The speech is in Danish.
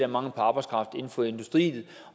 mangel på arbejdskraft inden for industrien